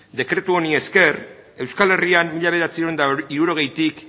dekretu honi esker euskal herrian mila bederatziehun eta hirurogeitik